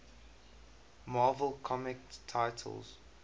marvel comics titles